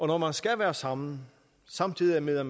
når man skal være sammen samtidig med at